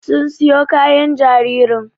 Sun siyo kayan jaririn